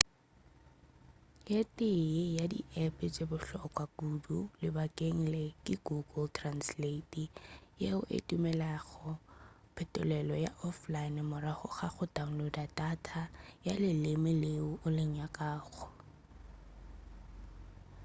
ye tee ya di app tše bohlokwa kudu ke lebakeng le ke google translate yeo e dumelelago phetolelo ya offline morago ga go download data ya leleme leo o le nyakago